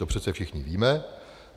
To přece všichni víme.